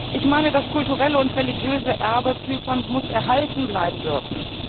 Ich meine, das kulturelle und religiöse Erbe Zyperns muss erhalten bleiben dürfen.